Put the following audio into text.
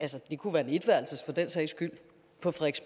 det kunne for den sags skyld